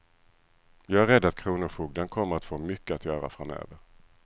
Jag är rädd att kronofogden kommer att få mycket att göra framöver.